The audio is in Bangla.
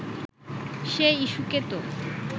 সেই ইস্যূকে তো